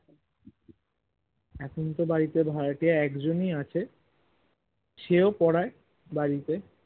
এখন তো বাড়িতে ভাড়াটিয়া একজনই আছে সেও পরায় বাড়িতে